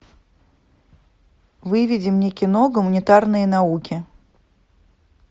выведи мне кино гуманитарные науки